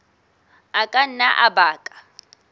a ka nna a baka